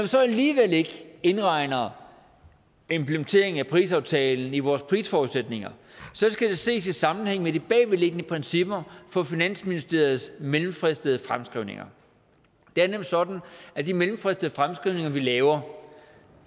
så alligevel ikke indregner implementeringen af parisaftalen i vores prisforudsætninger skal det ses i sammenhæng med de bagvedliggende principper for finansministeriets mellemfristede fremskrivninger det er nemlig sådan at de mellemfristede fremskrivninger vi laver